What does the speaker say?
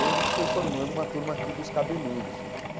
Aí a gente foi formando uma turma aqui dos cabeludos.